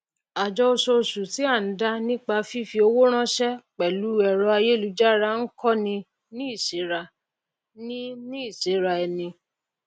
àjọ ososù tí à n dá nípa fífi owó ránsé pèlú èrọ ayélujára n kó ni ní ìséra ni ní ìséra eni